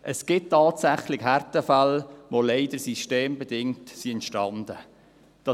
Es gibt tatsächlich Härtefälle, die leider systembedingt entstanden sind.